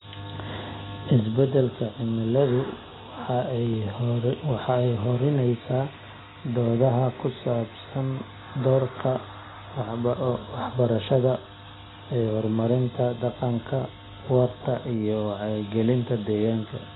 Isbeddelka cimiladu waxa ay hurinaysaa doodaha ku saabsan doorka waxbarashada ee horumarinta dhaqanka waarta iyo wacyigelinta deegaanka.